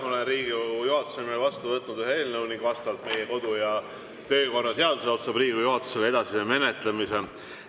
Olen Riigikogu juhatuse nimel vastu võtnud ühe eelnõu ning vastavalt meie kodu‑ ja töökorra seadusele otsustab Riigikogu juhatus selle edasise menetlemise.